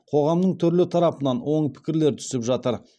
қоғамның түрлі тарапынан оң пікірлер түсіп жатыр